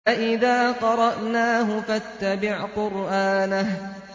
فَإِذَا قَرَأْنَاهُ فَاتَّبِعْ قُرْآنَهُ